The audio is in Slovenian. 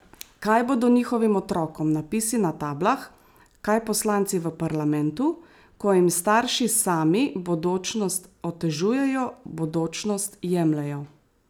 Kaj bodo njihovim otrokom napisi na tablah, kaj poslanci v parlamentu, ko jim starši sami bodočnost otežujejo, bodočnost jemljejo?